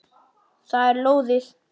Það er lóðið.